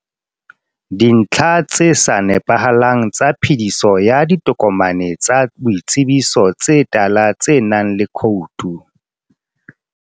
Dintlha tse sa nepahalang tsa phediso ya ditokomane tsa boitsebiso tse tala tsenang le khoutu.